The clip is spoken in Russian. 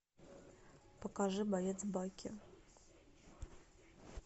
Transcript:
покажи боец бакки